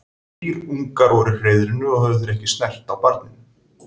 Þrír ungar voru í hreiðrinu og höfðu þeir ekki snert á barninu.